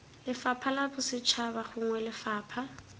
lefapha la bosetšhaba gongwe lefapha